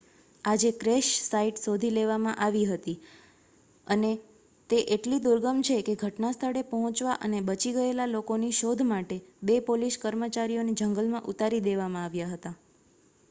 આજે crash site શોધી લેવામાં આવેલી હતી અને તે એટલી દુર્ગમ છેકે ઘટનાસ્થળે પહોંચવા અને બચી ગયેલા લોકોની શોધ માટે બે પોલીસ કર્મચારીઓને જંગલમાં ઉતારી દેવામાં આવ્યા હતા